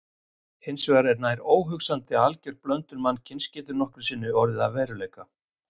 Hins vegar er nær óhugsandi að alger blöndun mannkyns geti nokkru sinni orðið að veruleika.